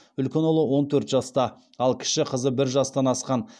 үлкен ұлы он төрт жаста ал кіші қызы бір жастан асқан